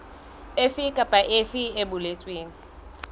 efe kapa efe e boletsweng